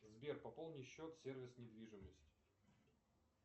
сбер пополни счет сервис недвижимость